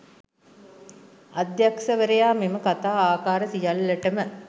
අධ්‍යක්ෂවරයා මෙම කථා ආකාර සියල්ලටම